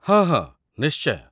ହଁ, ହଁ, ନିଶ୍ଚୟ।